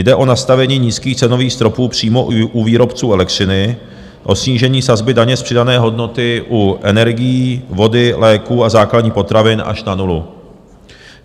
Jde o nastavení nízkých cenových stropů přímo u výrobců elektřiny, o snížení sazby daně z přidané hodnoty u energií, vody, léků a základních potravin až na nulu.